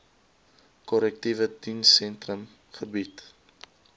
korrektiewe dienssentrum gebied